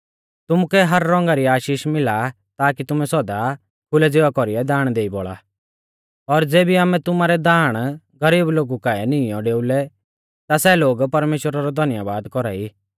तुमुकै हर रौंगा री आशीष मिला ताकी तुमै सौदा खुलै ज़िवा कौरीऐ दाण देई बौल़ा और ज़ेबी आमै तुमारै दाण गरीब लोगु काऐ निईंयौ डेउलै ता सै लोग परमेश्‍वरा रौ धन्यबाद कौरा ई